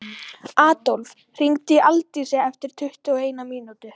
Adólf, hringdu í Aldísi eftir tuttugu og eina mínútur.